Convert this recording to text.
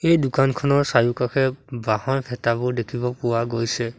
এই দোকানখনৰ চাৰিওকাষে বাঁহৰ ভেটাবোৰ দেখিব পোৱা গৈছে।